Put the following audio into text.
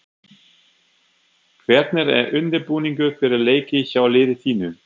Hvernig er undirbúningur fyrir leiki hjá liði þínu?